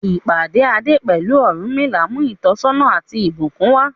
Ìpàdé Ade pẹ̀lú Ọ̀rúnmìlà mú ìtọ́sọ́nà àti ìbùkún wá.